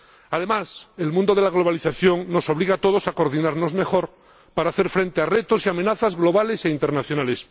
Además, la globalización nos obliga a todos a coordinarnos mejor para hacer frente a retos y amenazas globales e internacionales.